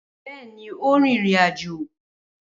Bẹẹni o rin irin ajo.